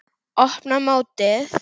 Opna mótið.